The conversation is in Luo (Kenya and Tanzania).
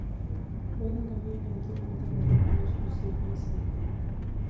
Wuoth ngamia en thuolo majaber mar loso osiep masiko.